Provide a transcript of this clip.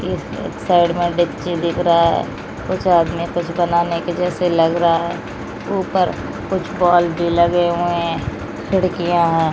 एक साइड में डेकची दिख रहा है उसके हाथ मे कुछ बनाने के जैसे लग रहा है ऊपर कुछ क्वालिटी लगे हुए हैं खिड़कियां हैं।